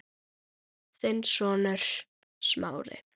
Þinn sonur, Smári.